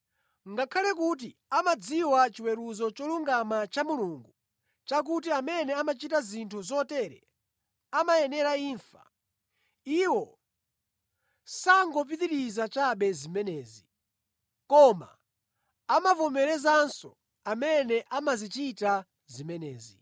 Ngakhale kuti amadziwa chiweruzo cholungama cha Mulungu chakuti amene amachita zinthu zotere amayenera imfa, iwo sangopitiriza chabe zimenezi, koma amavomerezanso amene amazichita zimenezi.